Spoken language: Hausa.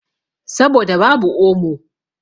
Saboda babu omo.